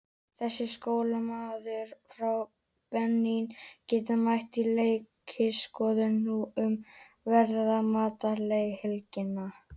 Þessi sóknarmaður frá Benín gæti mætt í læknisskoðun nú um verslunarmannahelgina.